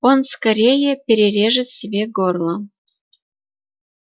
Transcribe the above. он скорее перережет себе горло